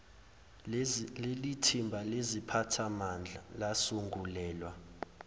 lelithimba leziphathimandla lasungulelwa